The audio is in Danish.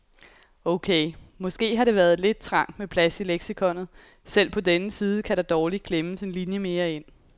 Okay, måske har det været lidt trangt med plads i leksikonet, selv på denne side kan der dårligt klemmes en linje mere ind.